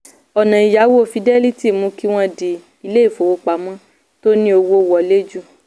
ọ̀nà ìyáwó fidelity mú kí wọ́n di ilé-ìfowópamọ́ tó ní owó wọlé jù.